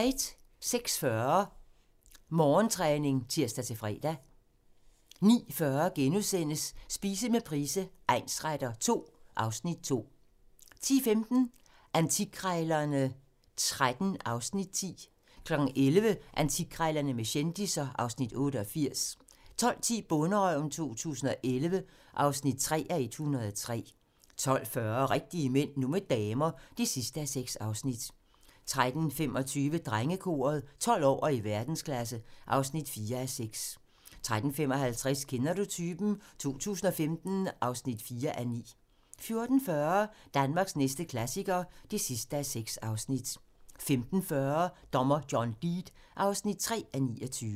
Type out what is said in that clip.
06:40: Morgentræning (tir-fre) 09:40: Spise med Price egnsretter II (Afs. 2)* 10:15: Antikkrejlerne XIII (Afs. 10) 11:00: Antikkrejlerne med kendisser (Afs. 88) 12:10: Bonderøven 2011 (3:103) 12:40: Rigtige Mænd - nu med damer (6:6) 13:25: Drengekoret - 12 år og i verdensklasse (4:6) 13:55: Kender du typen? 2015 (4:9) 14:40: Danmarks næste klassiker (6:6) 15:40: Dommer John Deed (3:29)